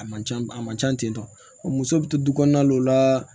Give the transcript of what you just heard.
A man ca a man ca ten tɔ muso bɛ to du kɔnɔna la o la